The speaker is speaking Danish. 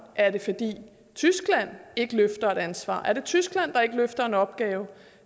er det fordi tyskland ikke løfter et ansvar er det tyskland der ikke løfter en opgave